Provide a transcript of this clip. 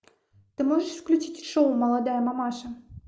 ты можешь включить шоу молодая мамаша